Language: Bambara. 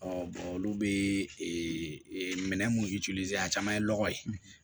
olu bee minɛn minnu a caman ye lɔgɔ ye